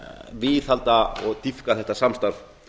viðhalda og dýpka þetta samstarf